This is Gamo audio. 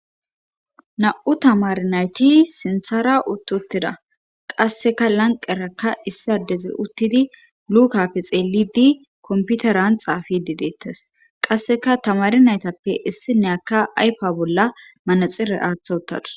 Na7u tamari nayti sinthara uttotida qasseka lanqerakka issiadeze uttidi lukappe xeelidi komputeran xaafidi deettes qasseka tamari naytappe issi neyaka aypa bolla manaxire aartha uttadus.